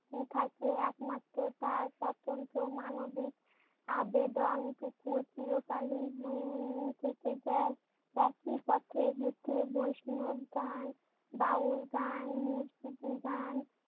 থাকে। একমাত্র তার স্বতন্ত্র মানবিক আবেদনটুকু চিরকালীন হয়ে থেকে যায়। বৈষ্ণব গান, বাউল গান, মুর্শিদি গান